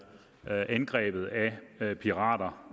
angrebet af pirater